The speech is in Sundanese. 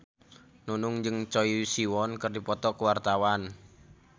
Nunung jeung Choi Siwon keur dipoto ku wartawan